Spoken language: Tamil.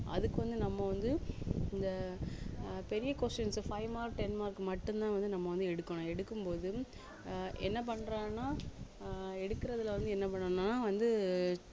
அதுக்கு வந்து நம்ம வந்து இந்த ஆஹ் பெரிய questions உ five mark ten mark மட்டும்தான் வந்து நம்ம வந்து எடுக்கணும் எடுக்கும்போது ஆஹ் என்ன பண்றாங்கன்னா ஆஹ் எடுக்கறதுல வந்து என்ன பண்ணணும்ன்னா வந்து